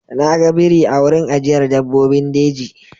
Na ga biri a wurin ajiyar dabbobin jeji.